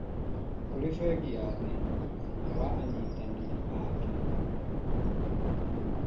kũrĩ Bengi ya Thĩ wa anyitanĩri ake.